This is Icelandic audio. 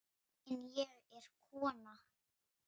En ég er kona.